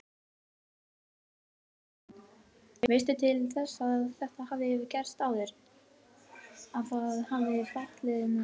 Þorbjörn Þórðarson: Veistu til þess að þetta hafi gerst áður, að það hafi fallið niður?